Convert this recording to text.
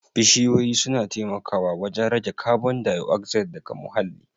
Bishiyoyi suna taimakawa wajen rage kabon dayoxide daga muhalli